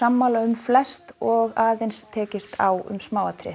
sammála um flest og aðeins tekist á um smáatriði